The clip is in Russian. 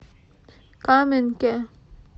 каменке